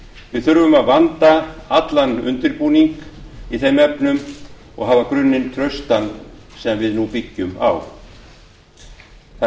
við þurfum að vanda allan undirbúning í þeim efnum og hafa grunninn traustan sem byggt verður á það er því